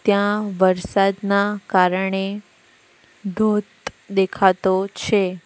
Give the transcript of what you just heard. ત્યાં વરસાદના કારણે ધોધ દેખાતો છે.